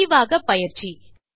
முடிவாக பயிற்சி